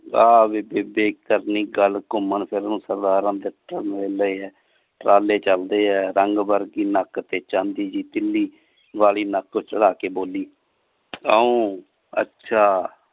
ਵਾਹ ਵੇ ਬੇਬੇ ਕਰਨੀ ਗੱਲ ਘੁੰਮਣ ਫਿਰਨ ਨੂੰ ਸਰਦਾਰ ਟਰਾਲੇ ਚਲਦੇ ਆ ਰੰਗ ਵਰਗੀ ਨੱਕ ਤੇ ਚਾਂਦੀ ਜੀ ਤੀਲੀ ਵਾਲੀ ਨੱਕ ਚੜਾ ਕੇ ਬੋਲੀ ਕਯੋ ਅੱਛਾ